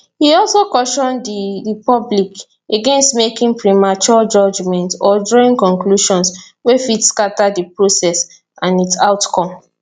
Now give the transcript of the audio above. e also caution di di public against making premature judgments or drawing conclusions wey fit scata di process and its outcome